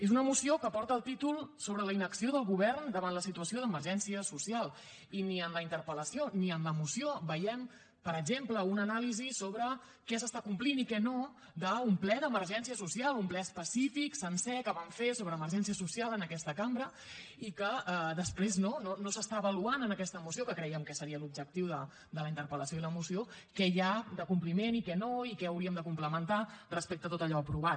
és una moció que porta el títol sobre la inacció del govern davant la situació d’emergència social i ni en la interpel·lació ni en la moció veiem per exemple una anàlisi sobre què s’està complint i què no d’un ple d’emergència social un ple específic sencer que vam fer sobre emergència social en aquesta cambra i que després no no s’està avaluant en aquesta moció que creiem que seria l’objectiu de la interpel·lació i la moció què hi ha de compliment i què no i què hauríem de complementar respecte a tot allò aprovat